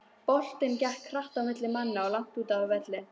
Boltinn gekk hratt á milli manna langt úti á velli.